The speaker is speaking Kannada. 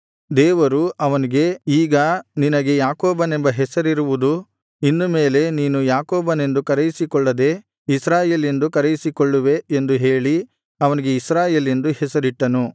ದೇವರು ಅವನಿಗೆ ಈಗ ನಿನಗೆ ಯಾಕೋಬನೆಂದು ಹೆಸರಿರುವುದು ಇನ್ನು ಮೇಲೆ ನೀನು ಯಾಕೋಬನೆಂದು ಕರೆಯಿಸಿಕೊಳ್ಳದೆ ಇಸ್ರಾಯೇಲ್ ಎಂದು ಕರೆಯಿಸಿಕೊಳ್ಳುವೆ ಎಂದು ಹೇಳಿ ಅವನಿಗೆ ಇಸ್ರಾಯೇಲ್ ಎಂದು ಹೆಸರಿಟ್ಟನು